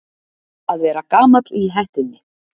Að vera gamall í hettunni